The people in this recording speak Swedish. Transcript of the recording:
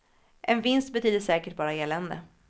En vinst betyder säkert bara elände.